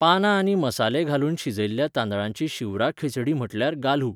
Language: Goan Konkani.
पानां आनी मसाले घालून शिजयल्ल्या तांदळांची शिवराक खिचडी म्हटल्यार गाल्हु.